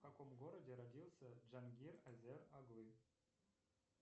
в каком городе родился джангир азер оглы